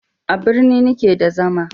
A birni ni ke da zama